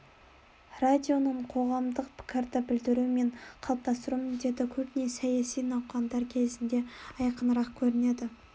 радионың қоғамдық пікірді білдіру мен қалыптастыру міндеті көбіне саяси науқандар кезінде айқынырақ көрінеді